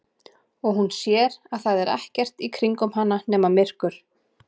Og hún sér að það er ekkert í kringum hana nema myrkur.